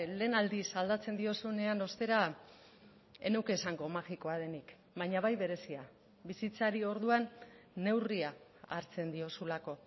lehen aldiz aldatzen diozunean ostera ez nuke esango magikoa denik baina bai berezia bizitzari orduan neurria hartzen diozulako